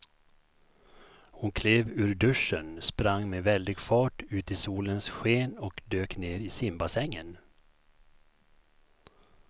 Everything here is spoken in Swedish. Hon klev ur duschen, sprang med väldig fart ut i solens sken och dök ner i simbassängen.